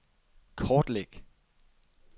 kortlæg